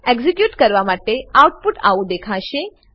execute કરવા પર output આવું દેખાશે